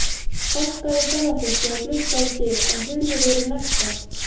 Bankaði ferðafólkið á glugga og dyr, en hurðir voru læstar.